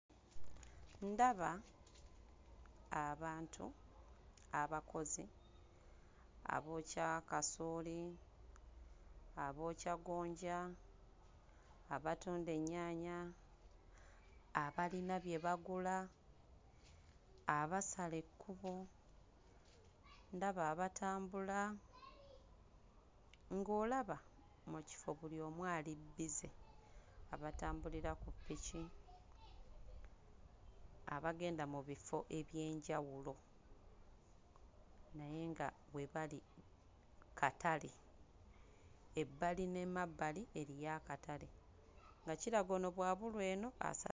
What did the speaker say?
Ndaba abantu abakozi abookya kasooli, abookya gonja, abatunda ennyaanya abayina bye bagula, abasala ekkubo, ndaba abatambula, ng'olaba mu kifo buli omu ali busy, abatambulira ku ppiki, abagenda mu bifo eby'enjawulo naye nga we bali katale, ebbali n'emabbali eriyo akatale nga kiraga nti ono bw'abulwa eno asa...